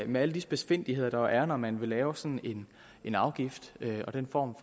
med alle de spidsfindigheder der er når man vil lave sådan en afgift og den form